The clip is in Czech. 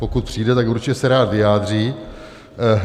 Pokud přijde, tak se určitě rád vyjádří.